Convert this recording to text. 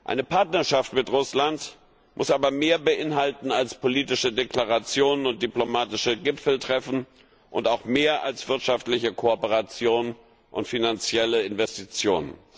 Eine Partnerschaft mit Russland muss aber mehr beinhalten als politische Deklarationen und diplomatische Gipfeltreffen und auch mehr als wirtschaftliche Kooperation und finanzielle Investitionen.